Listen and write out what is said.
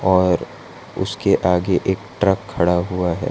और उसके आगे एक ट्रक खड़ा हुआ है।